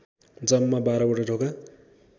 जम्मा बाह्रवटा ढोका